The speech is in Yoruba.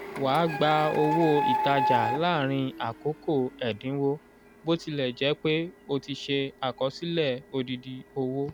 wà gba owó ìtajà làárín àkókò ẹ̀dínwó botilejepe o ti se àkọsílẹ odidi owó